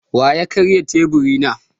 Wa ya karya teburi na?